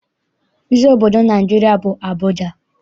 Isi obodo Naịjirịa bụ Abụja.